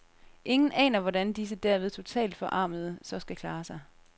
Ingen aner hvordan disse derved totalt forarmede så skal klare sig.